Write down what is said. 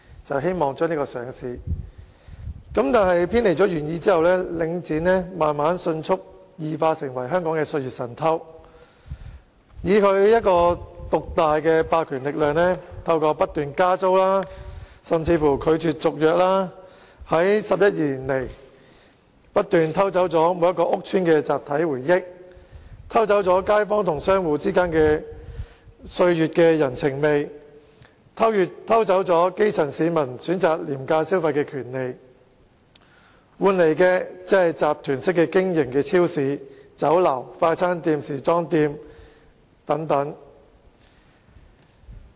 然而，偏離了原意之後，領展慢慢迅速異化成為香港的"歲月神偷"，以其獨大的霸權力量，透過不斷加租，甚至拒絕續約 ，11 年來不斷偷走每個屋邨的集體回憶、街坊與商戶之間經年月累積的人情味、基層市民選擇廉價消費的權利，換來的只是集團式經營的超市、酒樓、快餐店、時裝店等。